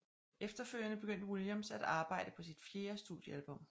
Efterfølgende begyndte Williams at arbejde på sit fjerde studiealbum